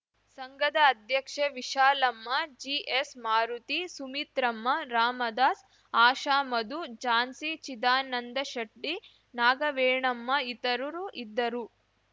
ಸಂಘದ ಅಧ್ಯಕ್ಷೆ ವಿಶಾಲಮ್ಮ ಜಿಎಸ್‌ಮಾರುತಿ ಸುಮಿತ್ರಮ್ಮರಾಮದಾಸ್‌ ಆಶಾಮಧು ಜಾನ್ಸಿಚಿದಾನಂದಶೆಟ್ಟಿ ನಾಗವೇಣಮ್ಮ ಇತರರು ಇದ್ದರು